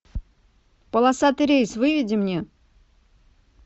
полосатый рейс выведи мне